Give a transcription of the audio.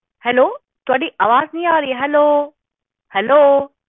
hello ਥੋਡੀ ਆਵਾਜ਼ ਨਹੀਂ ਆ ਰਹੀ ਹੈਲੋ ਹੈਲੋ